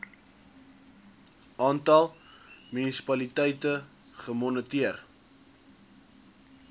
aantal munisipaliteite gemoniteer